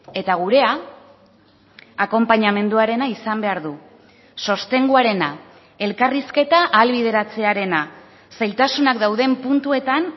eta gurea akonpainamenduarena izan behar du sostenguarena elkarrizketa ahalbideratzearena zailtasunak dauden puntuetan